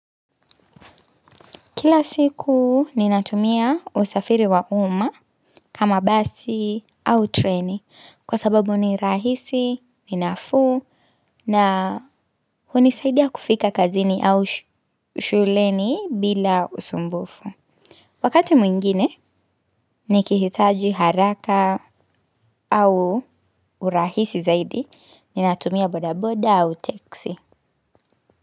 Kila siku ninatumia usafiri wa uma kama basi au treni kwa sababu ni rahisi ni nafuu na hunisaidia kufika kazini au shuleni bila usumbufu. Wakati mwingine nikihitaji haraka au urahisi zaidi ninatumia bodaboda au teksi.